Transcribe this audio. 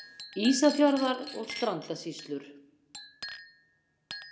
Ísafjarðar- og Strandasýslur.